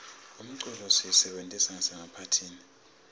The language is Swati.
umculo siyisebentisa nasemaphathini